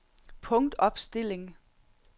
punktopstilling